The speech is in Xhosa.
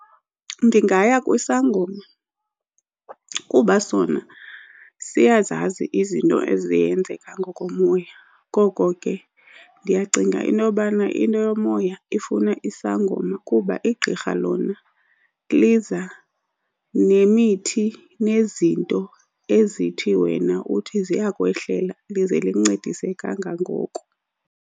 Ndingaya kwisangoma kuba sona siyazazi izinto ezenzeka ngokomoya, ngoko ke ndiyacinga inobana into yomoya ifuna isangoma kuba igqirha lona liza nemithi nezinto ezithi wena uthi ziyakwehlela lize lincedise kangangoko.